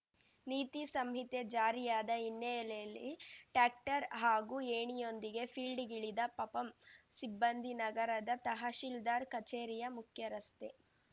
ನೀತಿ ಸಂಹಿತೆ ಜಾರಿಯಾದ ಹಿನ್ನಲೆಯಲ್ಲಿ ಟ್ಯಾಕ್ಟರ್ ಹಾಗೂ ಏಣಿಯೊಂದಿಗೆ ಫೀಲ್ಡಿಗಿಳಿದ ಪಪಂ ಸಿಬ್ಬಂದಿ ನಗರದ ತಹಶಿಲ್ದಾರ್ ಕಚೇರಿಯ ಮುಖ್ಯ ರಸ್ತೆ